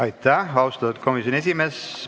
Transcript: Aitäh, austatud komisjoni esimees!